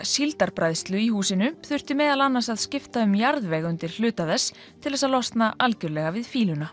síldarbræðslu í húsinu þurfti meðal annars að skipta um jarðveg undir hluta þess til þess að losna algjörlega við